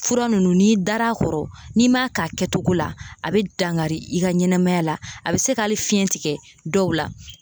Fura ninnu n'i dar'a kɔrɔ, n'i m'a k'a kɛcogo la ;a bɛ dangari i ka ɲɛnɛmaya la; a bɛ se ka hali fiɲɛ tigɛ dɔw la.